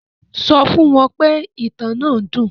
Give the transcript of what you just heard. Sọ fún wọn pé ìtàn náà dùn